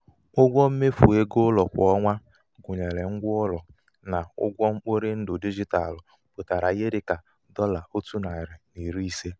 ụgwọ mmefu égo ụlọ kwa ọnwa gụnyere ngwa ụlọ na ụgwọ mkporindụ digitalụ pụtara ihe dị ka dọla ótu nari na iri ise.